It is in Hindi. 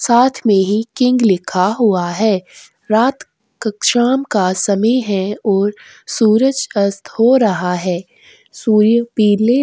साथ में ही किंग लिखा हुआ है रात का का समय है और सूरज अस्त हो रहा है सूर्य पीले --